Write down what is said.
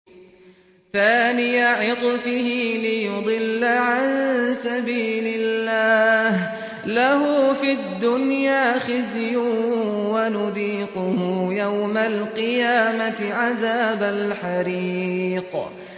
ثَانِيَ عِطْفِهِ لِيُضِلَّ عَن سَبِيلِ اللَّهِ ۖ لَهُ فِي الدُّنْيَا خِزْيٌ ۖ وَنُذِيقُهُ يَوْمَ الْقِيَامَةِ عَذَابَ الْحَرِيقِ